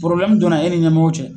donna e ni ɲɛmɔgɔw cɛ.